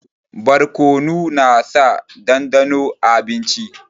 Barkonu na sa dandano a abinci